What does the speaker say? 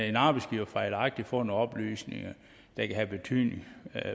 en arbejdsgiver fejlagtigt får nogle oplysninger der kan have betydning